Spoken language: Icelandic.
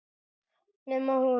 Nema hún.